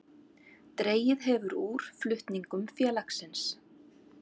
Dregið hefur úr flutningum félagsins